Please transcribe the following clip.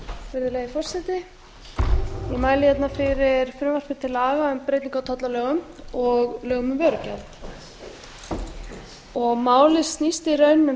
virðulegi forseti ég mæli hérna fyrir frumvarpi til laga um breytingu á tollalögum og lögum um vörugjald málið snýst í raun um